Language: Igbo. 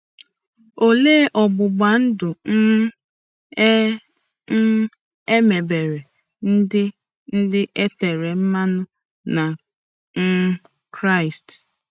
Olee ọgbụgba ndụ um e um mebere ndị ndị e tere mmanụ na um Kraịst?